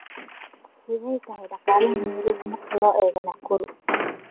sidee tahay dhaqaalaha nairobi marka loo eego nakuru